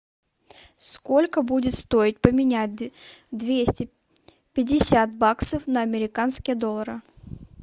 сколько будет стоить поменять двести пятьдесят баксов на американские доллары